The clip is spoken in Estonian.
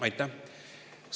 Aitäh!